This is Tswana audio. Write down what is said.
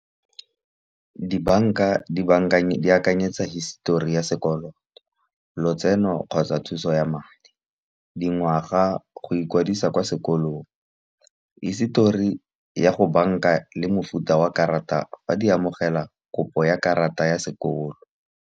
Di-bank-a di akanyetsa histori ya sekoloto, lotseno kgotsa thuso ya madi. Di ngwaga go ikwadisa kwa sekolong hisetori ya go bank-a, le mofuta wa karata ba di amogela kopo ya karata ya sekolo.